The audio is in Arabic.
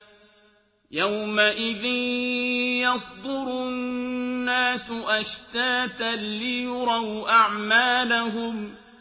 يَوْمَئِذٍ يَصْدُرُ النَّاسُ أَشْتَاتًا لِّيُرَوْا أَعْمَالَهُمْ